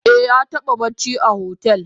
Eh yataba bacci a hotel.